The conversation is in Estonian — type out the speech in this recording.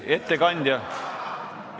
Ettekandja!